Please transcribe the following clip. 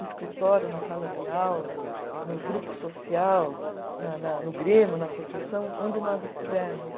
No escritório, na sala de aula, no grupo social, na na no grêmio, na associação, onde nós estivermos.